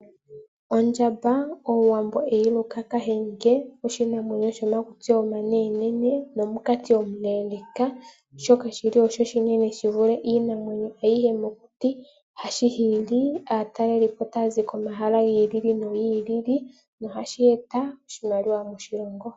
Ondjamba omuwambo eyiluka kahenge, oshinamwenyo shomakutsi omanene nene nomunkati omuleleka shoka shili osho oshinene shivule iinamwenyo ayihe mokuti, hatyi hili aataleli po taya zi komahal gi ili nogi ilili nohashi eta oshimaliwa moshilongo.